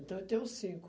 Então, eu tenho cinco.